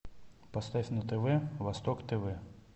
поставь на тв восток тв